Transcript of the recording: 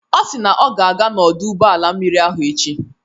Ọ si na ọ ga-aga n'ọdụ ụgbọ mmiri ahụ echi.